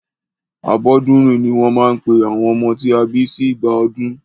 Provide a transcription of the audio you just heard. Abọ́dúnrìn ní wọ́n máa ń pe àwọn ọmọ tí a bí sí ìgbà ọdún.